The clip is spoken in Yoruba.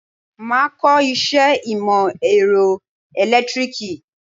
Máa kọ iṣẹ́ ìmò èrọ ẹ̀lẹ́tíríkì.